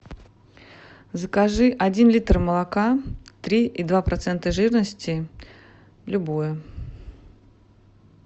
закажи один литр молока три и два процента жирности любое